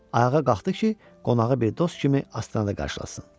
Ayağa qalxdı ki, qonağı bir dost kimi astanada qarşılasın.